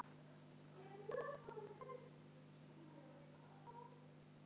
Hvað ætlið þið að kaupa?